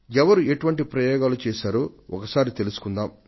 ఎవరు ఎటువంటి ప్రయోగాలు చేశారో ఒకసారి తెలుసుకుందాం